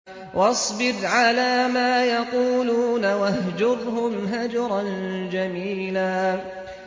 وَاصْبِرْ عَلَىٰ مَا يَقُولُونَ وَاهْجُرْهُمْ هَجْرًا جَمِيلًا